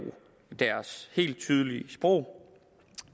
deres helt tydelige sprog